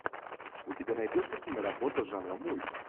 у тебя найдется киноработа жанра мульт